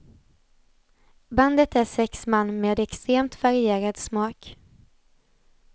Bandet är sex man med extremt varierad smak.